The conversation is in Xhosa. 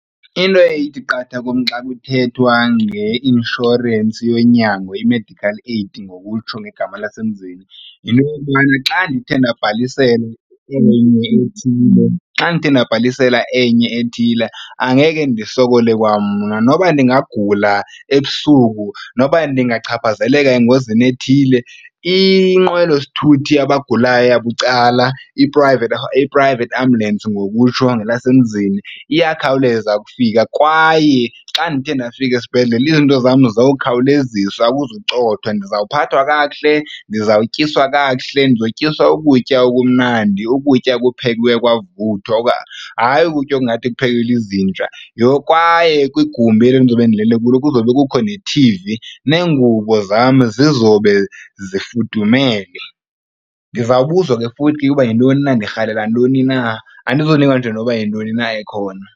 Into eye ithi qatha kum xa kuthethwa ngeinshorensi yonyango i-medical aid ngokutsho ngegama lasemzini yinto yokokubana xa ndithe ndabhalisela enye ethile xa ndithe ndabhalisela enye ethile angeke ndisokole kwamna. Noba ndingagula ebusuku noba ndingachaphazeleka engozini ethile inqwelosithuthi yabagulayo yabucala i-private ambulance ngokutsho ngelasemzini iyakhawuleza ukufika. Kwaye xa ndithe ndafika esibhedlele izinto zam zokhawulezisa akuzucotha. Ndizawuphathwa kakuhle, ndizawutyiswa kakuhle, ndizotyiswa ukutya okumnandi, ukutya okuphekiweyo kwavuthwa hayi ukutya okungathi kuphekelwe izinja. Nokwaye kwigumbi eli ndizobe ndilele kulo kuzobe kukho nethivi, neengubo zam zizobe zifudumele. Ndizawubuzwa ke futhi uba yintoni na ndirhalela ntoni na andizunikwa nje noba yintoni na ekhona.